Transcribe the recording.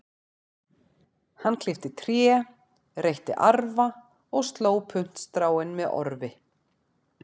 Hann klippti tré, reytti arfa og sló puntstráin með orfi.